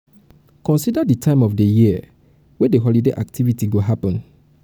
consider di time of di year wey di holiday activity go happen